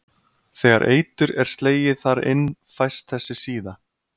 Þegar eitur er slegið þar inn fæst þessi síða.